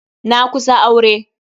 Na kusa aure.